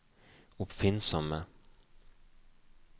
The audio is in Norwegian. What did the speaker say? oppfinnsomme